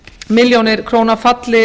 milljónir króna falli